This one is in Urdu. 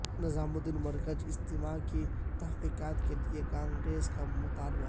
نظام الدین مرکز اجتماع کی تحقیقات کیلئے کانگریس کا مطالبہ